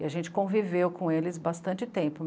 E a gente conviveu com eles bastante tempo.